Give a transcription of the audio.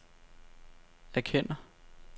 erkender